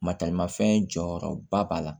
Mataramafɛn jɔyɔrɔba b'a la